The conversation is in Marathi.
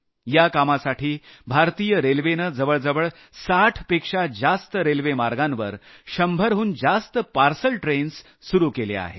या कामासाठी भारतीय रेल्वेनं जवळजवळ 60 पेक्षा जास्त रेल्वेमार्गांवर 100 हून जास्त पार्सल ट्रेन्स सुरू केल्या आहेत